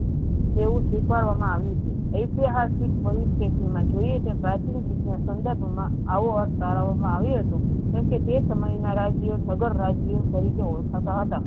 તેવી સ્વીકાર્ય મા આવ્યુ છે એ તે જર્થીક પરિસ્થિતિ મા જોયીયે તે પ્રાથમિક દ્રીશ્ય ના સન્દ્ર્ફ મા આવું અ શાળાઓ મા આવ્યુ હતુ કેમ કે તે સમય મા રાજ્યો નગર રાજ્યો તરીકે ઓળખાતા હતા.